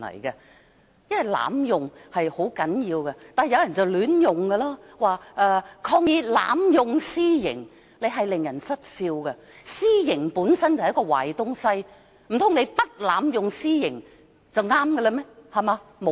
有人會亂用"濫用"一詞，說抗議濫用私刑，用法令人失笑，私刑本身就是一個壞東西，難道你不濫用私刑就對嗎？